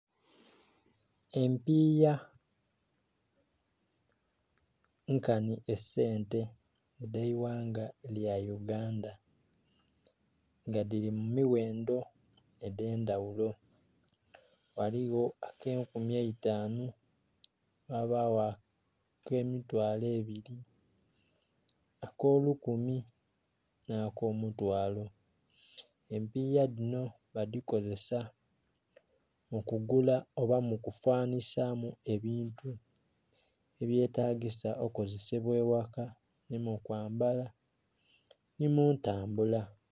Empiiya nkanhi esente dh'eighanga lya Uganda. Nga dhili mu miwendo edh'endhaghulo. Waliwo ak'enkumi eitanu, ghabagho ak'emitwalo ebiri, ak'olukumi, nh'akomutwalo. Empiiya dhino badhikozesa mu kugula oba mu kufanhisamu ebintu ebyetagisa okozesebwa ewaka, nhi mukwambala nhi mu ntambula.